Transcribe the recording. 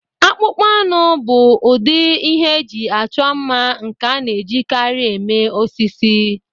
Akpụkpọ anụ bụ ụdị ihe eji achọ mma nke a na-ejikarị eme osisi.